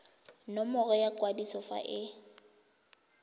nomoro ya kwadiso fa e